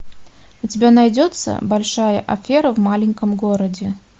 у тебя найдется большая афера в маленьком городе